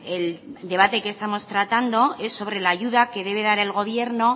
el debate que estamos tratando es sobre la ayuda que debe dar el gobierno